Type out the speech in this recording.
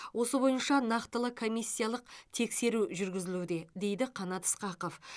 осы бойынша нақтылы комиссиялық тексеру жүргізілуде дейді қанат ысқақов